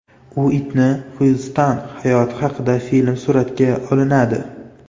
Uitni Xyuston hayoti haqida film suratga olinadi.